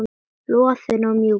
Loðinn og mjúkur.